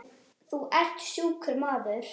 Hvorki í gemsann né heima.